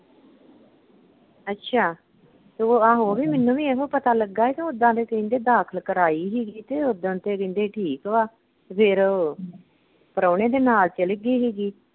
ਅੱਛਾ, ਤੇ ਆਹੋ ਓਹੋ ਮੈਨੂੰ ਵੀ ਇਹੋ ਪਤਾ ਲੱਗਾ ਕਿ ਓਦਾਂ ਤੇ ਕਹਿੰਦੇ ਦਾਖਲ ਕਰਾਈ ਹੀਗੀ ਤੇ ਉੱਦਨ ਤੇ ਕਹਿੰਦੇ ਠੀਕ ਵਾਂ ਫਿਰ ਓਹੋ ਪ੍ਰਾਹੁਣੇ ਦੇ ਨਾਲ ਚਲ ਗੀ ਹੈਗੀ।